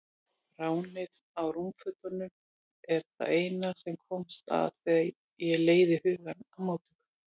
Ránið á rúmfötunum er það eina sem kemst að þegar ég leiði hugann að móttökunni.